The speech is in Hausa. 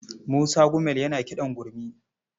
Musa Gumel yana kiɗan gurmi.